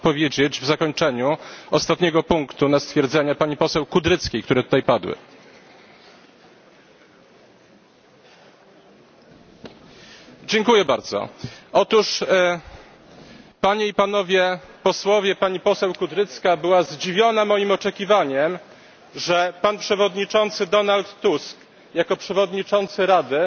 Chciałbym odpowiedzieć w zakończeniu ostatniego punktu na stwierdzenia pani poseł Kudryckiej, które tutaj padły. Dziękuję bardzo, otóż Panie i Panowie Posłowie, pani poseł Kudrycka była zdziwiona moim oczekiwaniem, że pan przewodniczący Donald Tusk jako przewodniczący Rady